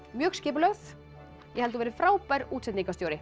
mjög skipulögð ég held þú verðir frábær